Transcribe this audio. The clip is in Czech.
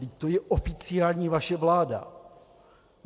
Vždyť to je oficiální vaše vláda.